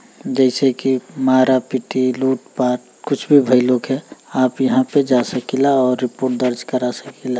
जैसे के मारा पीटी लूट पाट कुछ भी भइल होखे आप यहाँ पे जा सकिला और रिपोर्ट दर्ज करा सकिला।